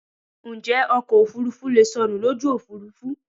Njẹ́ ọkọ̀ òfurufú leè sọnù lójú òfúrufú?